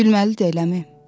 Gülməlidir eləmi?